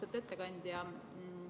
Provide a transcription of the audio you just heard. Austatud ettekandja!